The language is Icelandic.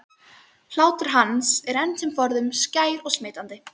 Hlátur hans er enn sem forðum skær og smitandi.